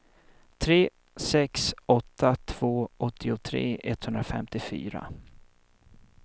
tre sex åtta två åttiotre etthundrafemtiofyra